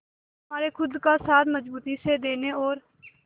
हमारे खुद का साथ मजबूती से देने और